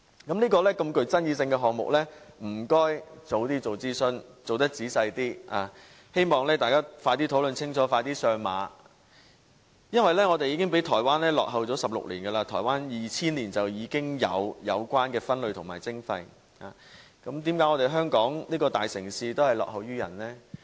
這麼具爭議性的項目，請政府早日進行仔細的諮詢，希望大家快點討論清楚，快點上馬，因為我們已經比台灣落後了16年，台灣在2000年已進行有關分類和徵費，為何香港這大城市會落後於人？